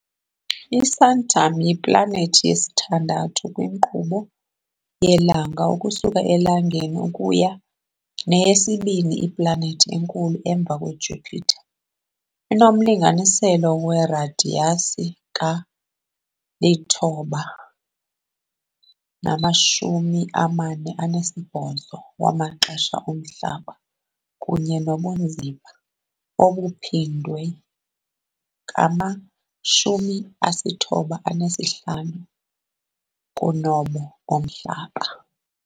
ISaturn yiplanethi yesithandathu kwinkqubo yelanga ukusuka eLangeni kunye neyesibini iplanethi enkulu emva kweJupiter . Inomlinganiselo weradiyasi ka-9.48 wamaxesha oMhlaba kunye nobunzima obuphindwe ka-95 kunobo boMhlaba .